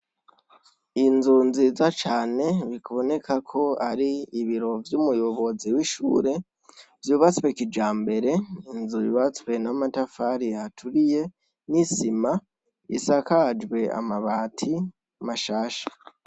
Inzu nziza cane bibonekak'aribiro vy'umuyobizi w' ishure vy' ubatswe kijambere, inzu yubatswe n' amatafar' aturiye n isima, isakajw' amabati mashasha.